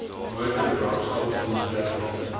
motor brandstof doeltreffend